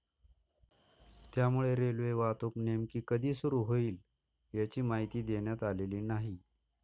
त्यामुळे रेल्वेवाहतूक नेमकी कधी सुरू होईल, याची माहिती देण्यात आलेली नाही.